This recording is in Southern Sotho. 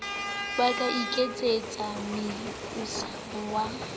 ba ka iketsetsa meusiamo wa